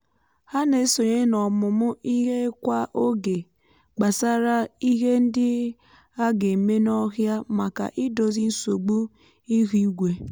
ha na-esonye n’ọmụmụ ihe kwa oge gbasara ihe ndị a ga-eme n’ọhịa maka idozi nsogbu ihu igwe.